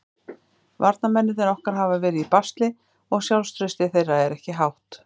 Varnarmennirnir okkar hafa verið í basli og sjálfstraustið þeirra er ekki hátt.